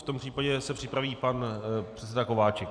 V tom případě se připraví pan předseda Kováčik.